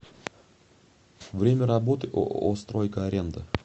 время работы ооо стройка аренда